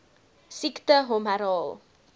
siekte hom herhaal